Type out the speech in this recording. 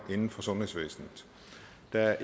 der